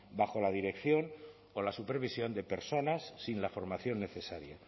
bajo la dirección o la supervisión de personas sin la formación necesaria